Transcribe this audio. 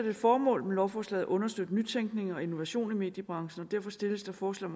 et formål med lovforslaget at understøtte nytænkning og innovation af mediebranchen og derfor stilles der forslag